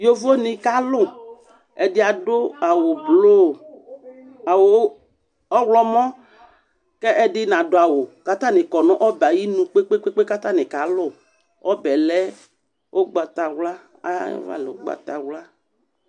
Yovonɩ kalʋ Ɛdɩ adʋ awʋblu, awʋ ɔɣlɔmɔ kʋ ɛdɩ nadʋ awʋ kʋ atanɩ kɔ nʋ ɔbɛ yɛ ayinu kpe-kpe-kpe kʋ atanɩ kalʋ Ɔbɛ yɛ lɛ ʋgbatawla, ayava lɛ ʋgbatawla